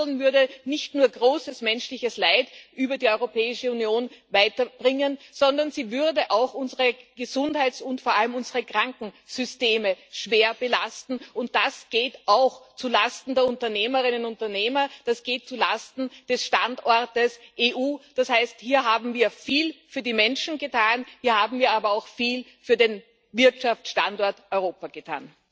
Denn nicht zu handeln würde nicht nur weiter großes menschliches Leid über die Europäische Union bringen, sondern es würde auch unsere Gesundheits und vor allem unsere Krankensysteme schwer belasten, und das geht auch zulasten der Unternehmerinnen und Unternehmer, das geht zulasten des Standortes EU. Das heißt, hier haben wir viel für die Menschen getan, wir haben hier aber auch viel für den Wirtschaftsstandort Europa getan.